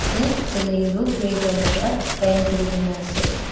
tae ceiling toh grey colour para paint asa.